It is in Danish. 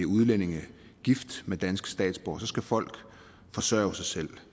udlændinge gift med danske statsborgere skal folk forsørge sig selv